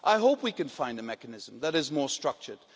I hope we can find a mechanism that is more structured.